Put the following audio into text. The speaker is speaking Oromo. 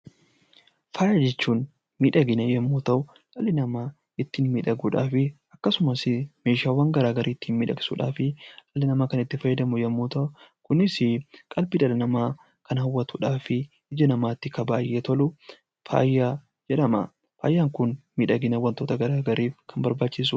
Faaya jechuun miidhagina yommuu ta'u dhalli namaa ittiin miidhaguudhaaf akkasumas meeshaawwan garaagaraa ittiin miidhagsuuf kan itti fayyadamu yommuu ta'u, kunis qalbii dhala namaa kan hawwatuu fi ija dhala namaatti baay'ee tolu faaya jedhama. Faayaan kun miidhagina wantoota garaagaraaf kan fayyadudha.